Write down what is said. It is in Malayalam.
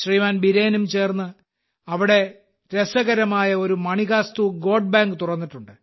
ബിരേനും ചേർന്ന് അവിടെ രസകരമായ ഒരു മണികാസ്തു ഗോട്ട് ബാങ്ക് തുറന്നിട്ടുണ്ട്